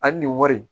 Ani nin wari